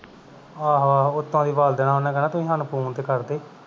ਆਹੋ-ਆਹੋ ਓਤੋਂ ਦੀ ਵਲ ਦੇਣਾ ਉਹਨੇ ਕਹਿਣਾ ਤੁਸੀਂ ਸਾਨੂੰ phone ਤੇ ਕਰਦੇ